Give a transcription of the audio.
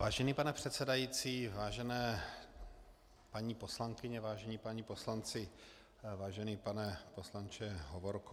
Vážený pane předsedající, vážené paní poslankyně, vážení páni poslanci, vážený pane poslanče Hovorko.